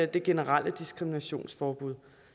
det generelle diskriminationsforbud